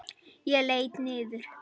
Ég leit niður.